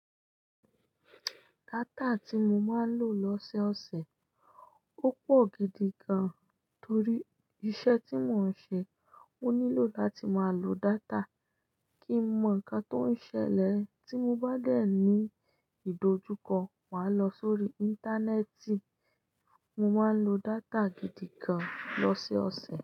Data tí mo máa ń lò lọ́sẹ́ ọ̀sẹ̀, ó pọ̀ gidi gan, torí iṣẹ́ tí mò ń ṣe, ó nílò láti máa lo data kí n mọ ǹkan tó ń ṣẹlẹ̀. Tí mo bá dẹ̀ ní ìdojúkọ, màá lọ sórí Íńtánẹ́ẹ̀tì, mo máa ń lo data gidi gan lọ́sẹ́ ọ̀sẹ̀.